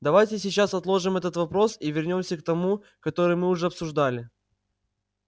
давайте сейчас отложим этот вопрос и вернёмся к тому который мы уже обсуждали